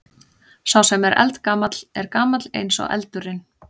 Sá sem er eldgamall er gamall eins og eldurinn.